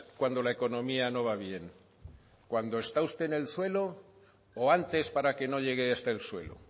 cuando la economía no va bien cuando está usted el suelo o antes para que no llegue hasta el suelo